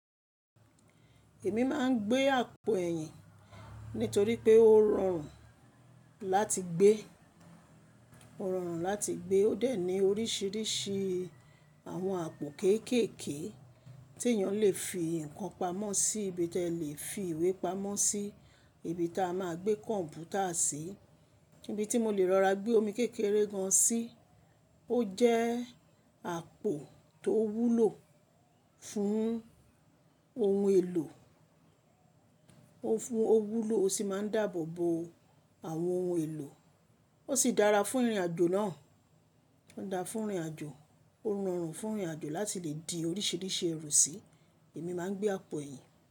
Èmi máa ń gbé àpò ẹ̀yìn nítorí pé ó rọrùn láti gbé, ó rọrùn láti gbé ó dẹ̀ ní oríṣiríṣi àwọn àpò kéékèèké tí èèyàn lè fi nǹkan pamọ́ sí, ibi tí ẹ lè fi ìwé pamọ́ sí, ibi tí a máa gbé kọ̀m̀pútà sí, ibi tí mo lè lọ ra gbé omi kékeré gan sí. Ó jẹ́ àpò tó wúlò fún ohun èlò, ó fún ó wúlò ó sì máa ń dáàbò bo àwọn ohun èlò. Ó sì dára fún ìrìnàjò náà, ó ń dára fún ìrìnàjò, ó rọrùn fún ìrìnàjò láti lè di oríṣiríṣi èrò sí. Èmi máa ń gbé àpò ẹ̀yìn.